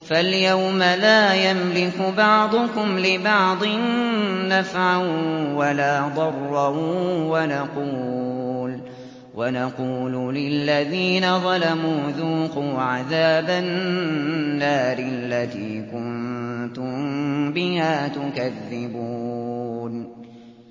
فَالْيَوْمَ لَا يَمْلِكُ بَعْضُكُمْ لِبَعْضٍ نَّفْعًا وَلَا ضَرًّا وَنَقُولُ لِلَّذِينَ ظَلَمُوا ذُوقُوا عَذَابَ النَّارِ الَّتِي كُنتُم بِهَا تُكَذِّبُونَ